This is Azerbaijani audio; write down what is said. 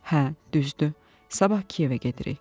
Hə, düzdür, sabah Kiyevə gedirik.